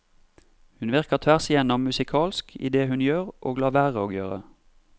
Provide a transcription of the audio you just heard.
Hun virker tvers igjennom musikalsk i det hun gjør og lar være å gjøre.